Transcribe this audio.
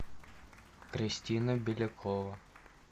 кристина белякова